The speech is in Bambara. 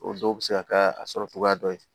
O dɔw bɛ se ka kɛ a sɔrɔ cogoya dɔ ye